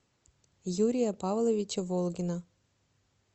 юрия павловича волгина